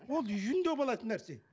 ол үйінде болатын нәрсе